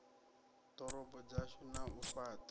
ḓorobo dzashu na u fhaṱha